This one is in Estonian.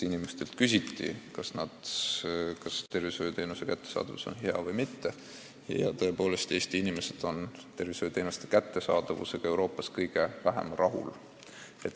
Inimestelt küsiti, kas arstiabi kättesaadavus on hea või mitte, ja tõepoolest, Eesti inimesed on tervishoiuteenuste kättesaadavusega Euroopas kõige vähem rahul.